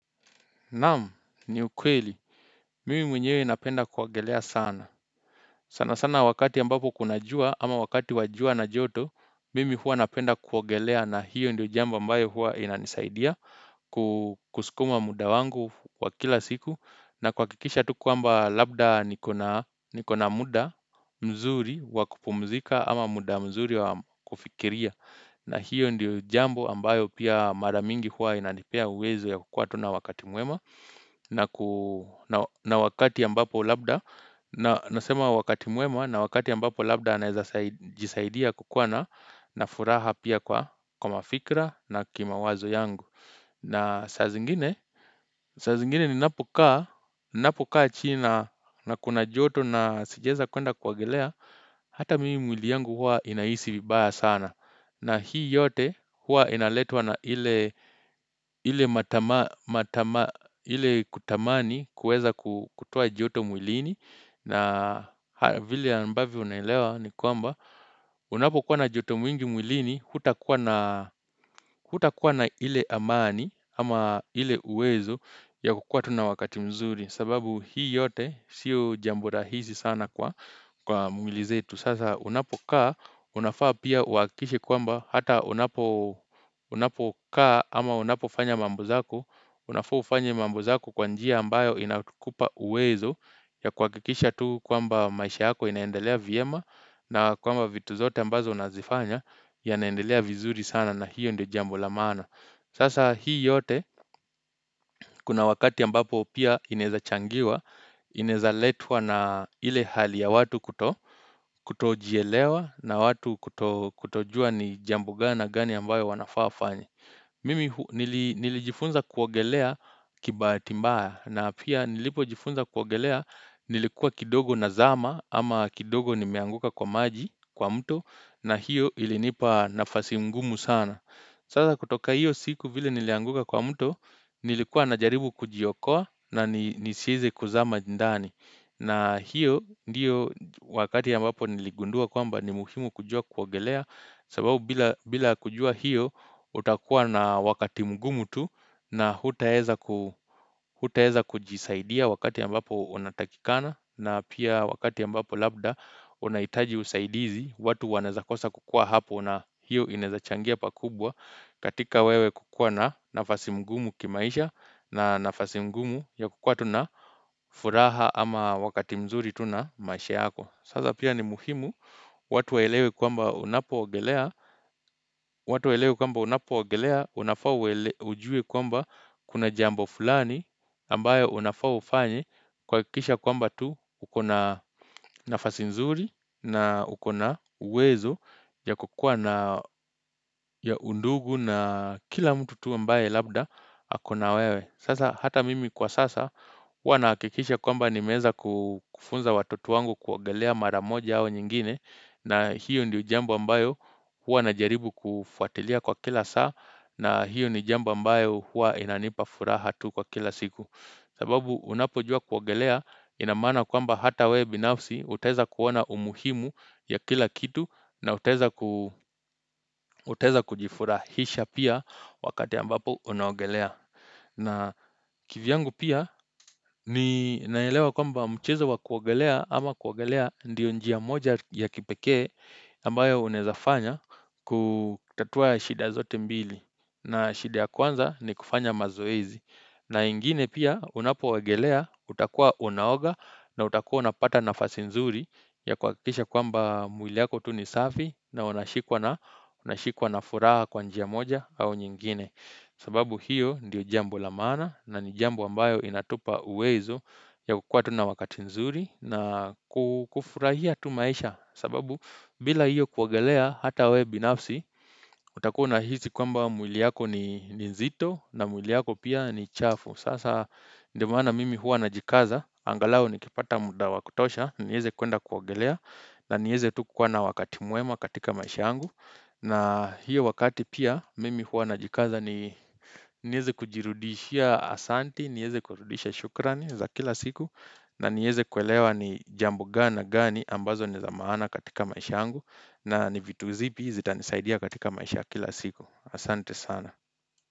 Naam ni ukweli Mimi mwenyewe napenda kuogelea sana sana wakati ambapo kuna jua ama wakati wa jua na joto mimi hua napenda kuogelea na hiyo ndio jambo ambayo hua inanisaidia kusukuma muda wangu wa kila siku na kuhakikisha tu kwamba labda niko na muda mzuri wa kupumzika ama muda mzuri wa kufikiria na hiyo ndiyo jambo ambayo pia mara mingi huwa inanipea uwezo ya kukua tu na wakati mwema na wakati ambapo labda nasema wakati mwema na wakati ambapo labda anaezajisaidia kukua na na furaha pia kwa mafikra na kimawazo yangu. Na saa zingine, saa zingine ninapokaa, ninapokaa chini na kuna joto na sijaeza kwenda kuogelea, hata mimi mwili yangu hua inahisi vibaya sana. Na hii yote hua inaletwa na ile kutamani kueza kutoa joto mwilini. Na vile ambavyo unaelewa ni kwamba unapokuwa na joto mwingi mwilini hutakuwa na ile amani ama ile uwezo ya kukua tu na wakati mzuri sababu hii yote siyo jambo rahihi sana kwa mwili zetu Sasa unapokaa unafaa pia uhakikishe kwamba hata unapokaa ama unapofanya mambo zako Unafaa ufanye mambo zako kwa njia ambayo inakupa uwezo ya kuhakikisha tu kwamba maisha yako inaendelea vyema na kwamba vitu zote ambazo unazifanya yanaendelea vizuri sana na hiyo ndio jambo lamana Sasa hii yote kuna wakati ambapo pia inaeza changiwa Inaezaletua na ile hali ya watu kuto Kutojielewa na watu kutojua ni jambo gani na gani ambayo wanafaa wafanye Mimi nilijifunza kuogelea kibahati mbaya na pia nilipojifunza kuogelea nilikuwa kidogo nazama ama kidogo nimeanguka kwa maji kwa mto na hiyo ilinipa nafasi ngumu sana. Sasa kutoka hiyo siku vile nilianguka kwa mto, nilikuwa najaribu kujiokoa na nisieze kuzama ndani. Na hiyo ndiyo wakati ambapo niligundua kwamba ni muhimu kujua kuogelea sababu bila kujua hiyo utakuwa na wakati mgumu tu na hutaeza kujisaidia wakati ambapo unatakikana na pia wakati ambapo labda unahitaji usaidizi. Watu wanaeza kosa kukua hapo na hiyo inaeza changia pakubwa katika wewe kukua na nafasi ngumu kimaisha na nafasi ngumu ya kukua tu na furaha ama wakati mzuri tu na maisha yako. Sasa pia ni muhimu, watu waelewe kwamba unapoogelea, unafaa ujue kwamba kuna jambo fulani, ambayo unafaa ufanye, kuhakikisha kwamba tu uko na nafasi nzuri na uko na uwezo ya kukua na undugu na kila mtu tu ambaye labda ako na wewe. Sasa hata mimi kwa sasa hua nahakikisha kwamba nimeeza kufunza watoto wangu kuogelea mara moja au nyingine na hiyo ndo jambo ambayo hua na jaribu kufuatilia kwa kila saa na hiyo ni jambo ambayo hua inanipa furaha tu kwa kila siku. Sababu unapojua kuogelea ina maana kwamba hata wewe binafsi utaeza kuona umuhimu ya kila kitu na utaeza kujifurahisha pia wakati ambapo unaogelea. Na kivyangu pia ninaelewa kwamba mchezo wa kuogelea ama kuogelea ndiyo njia moja ya kipekee ambayo unaezafanya kutatua shida zote mbili na shida ya kwanza ni kufanya mazoezi na ingine pia unapoogelea utakua unaoga na utakua unapata nafasi nzuri ya kuhakikisha kwamba mwili yako tu ni safi na unashikwa na furaha kwa njia moja au nyingine sababu hiyo ndiyo jambo la maana na ni jambo ambayo inatupa uwezo ya kukua tu na wakati nzuri na kufurahia tu maisha sababu bila hiyo kuogelea hata wewe binafsi utakuwa unahisi kwamba mwili yako ni nzito na mwiliyako pia ni chafu Sasa ndio maana mimi hua najikaza, angalau nikipata muda wa kutosha, nieze kwenda kuogelea na nieze tu kukua na wakati mwema katika maisha yangu na hiyo wakati pia mimi huwa najikaza nieze kujirudishia asante, nieze kurudisha shukrani za kila siku na nieze kuelewa ni jambo gani na gani ambazo ni za maana katika maisha yangu na ni vitu zipi zitanisaidia katika maisha ya kila siku Asante sana.